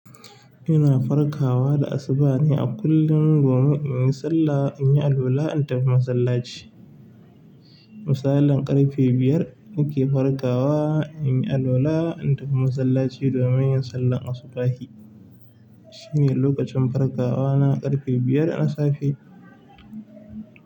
Ina farkawa da asubah ne a kullum domin in yi sallah, in yi alwala, in tafi masallaci. Misalin ƙarfe biyar nake farkawa, in yi alwala, in tafi masallaci domin yin sallar asubahi. Shi ne lokacin farkawa na, ƙarfe biyar na safe.